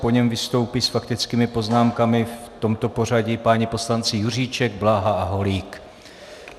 Po něm vystoupí s faktickými poznámkami v tomto pořadí páni poslanci Juříček, Bláha a Holík.